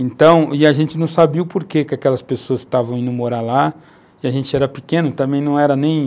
Então, a gente não sabia o porquê aquelas pessoas estavam indo morar lá, e a gente era pequeno, também não era nem...